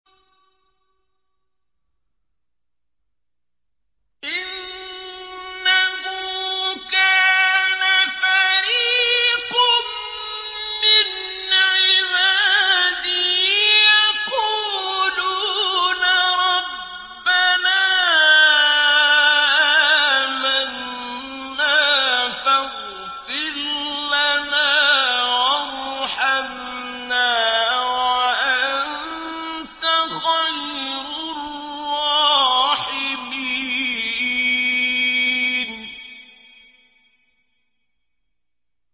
إِنَّهُ كَانَ فَرِيقٌ مِّنْ عِبَادِي يَقُولُونَ رَبَّنَا آمَنَّا فَاغْفِرْ لَنَا وَارْحَمْنَا وَأَنتَ خَيْرُ الرَّاحِمِينَ